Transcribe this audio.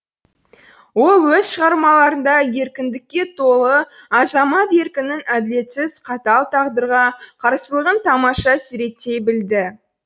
ол өз шығармаларында еркіндікке толы азамат еркінің әділетсіз қатал тағдырға қарсылығын тамаша суреттей білді